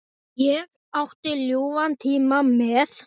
Ég átti ljúfan tíma með